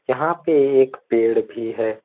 यहां पे एक पेड़ भी है।